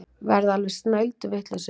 Verða alveg snælduvitlausir.